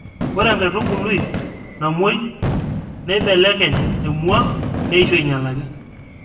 Ore enkaitubulue namwoi neekibelekeny emwua neisho ainyalaki